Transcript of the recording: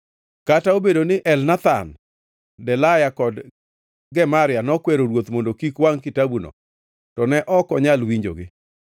Kata obedo ni Elnathan, Delaya kod Gemaria nokwero ruoth mondo kik wangʼ kitabuno, to ne ok onyal winjogi.